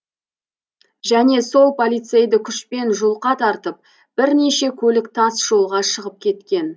және сол полицейді күшпен жұлқа тартып бірнеше көлік тас жолға шығып кеткен